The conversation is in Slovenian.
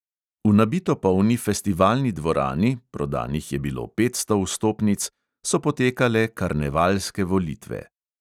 V nabito polni festivalni dvorani, prodanih je bilo petsto vstopnic, so potekale karnevalske volitve.